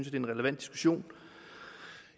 er en relevant diskussion